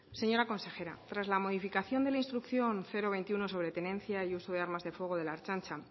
señora consejera tras la modificación de la instrucción veintiuno sobre la tenencia y uso de armas de fuego de la ertzaintza